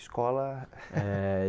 Escola? É